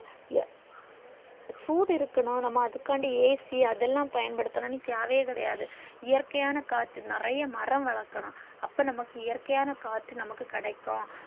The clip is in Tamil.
ய சூடு இருக்கணும் நம்ம அதுகாண்டி AC தலா பயன்படுத்தணும் தேவை கிடையாது இயற்கையான காற்று நிறைய மரம் வளக்கணும் அப்போ நமக்கு இயற்கையான காற்று நமக்கு கிடைக்கும்